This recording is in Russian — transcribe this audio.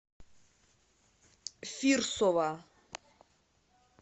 фирсова